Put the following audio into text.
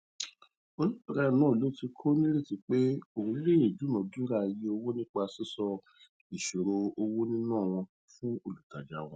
oníbàárà náà ló tìkò nírètí pé òun lè dúnàádúrà iye owó nípa sísọ ìṣòro owonina wọn fún olùtajà náà